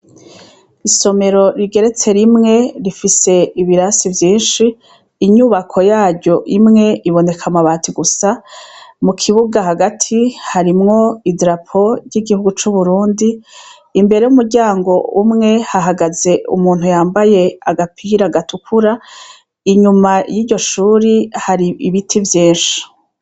Isomero rigeretse rimwe rifise ibirasi vyinshi, inyubako yaryo imwe iboneka akabati gusa, mu kibuga hagati harimwo idarapo ry' igihugu c' Uburundi, imbere y' umuryango umwe ,hahagaze umuntu yambaye agapira gatukura, inyuma yiryo shuri hari ibiti vyinshi .